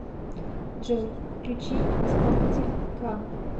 джой включи исполнителя кан